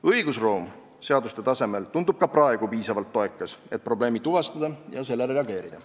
Õigusruum seaduste tasemel tundub ka praegu piisavalt toekas, et probleemi tuvastada ja sellele reageerida.